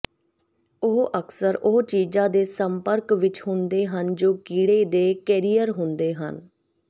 ਉਹ ਅਕਸਰ ਉਹ ਚੀਜ਼ਾਂ ਦੇ ਸੰਪਰਕ ਵਿੱਚ ਹੁੰਦੇ ਹਨ ਜੋ ਕੀੜੇ ਦੇ ਕੈਰੀਅਰ ਹੁੰਦੇ ਹਨ